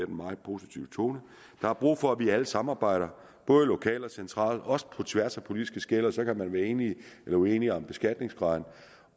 en meget positiv tone der er brug for at vi alle samarbejder både lokalt og centralt og også på tværs af politiske skel så kan man være enige eller uenige om beskatningsgraden